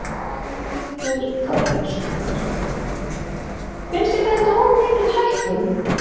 Þórhildur Þorkelsdóttir: Finnst þér þetta of mikil hækkun?